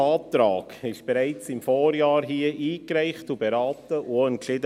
Der gleichlautende Antrag wurde bereits im Vorjahr hier eingereicht und auch beraten und entschieden.